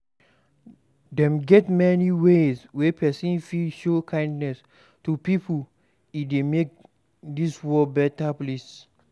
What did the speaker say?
Dem get many ways wey persin fit show kindness to pipo e de make dis world better place